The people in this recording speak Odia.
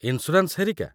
ଇନ୍‌ସ୍ୟୁରାନ୍ସ ହେରିକା?